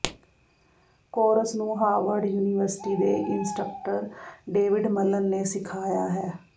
course ਨੂੰ Harvard university ਦੇ instructor David Malan ਨੇ ਸਿਖਾਇਆ ਹੈ